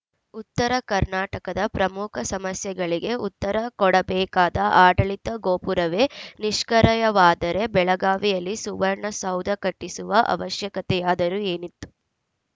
ಉತ್ತರ ಕರ್ನಾಟಕದ ಪ್ರಮುಖ ಸಮಸ್ಯೆಗಳಿಗೆ ಉತ್ತರ ಕೊಡಬೇಕಾದ ಆಡಳಿತ ಗೋಪುರವೇ ನಿಷ್ಕಿ್ರಯವಾದರೆ ಬೆಳಗಾವಿಯಲ್ಲಿ ಸುವರ್ಣ ಸೌಧ ಕಟ್ಟಿಸುವ ಅವಶ್ಯಕತೆಯಾದರು ಏನಿತ್ತು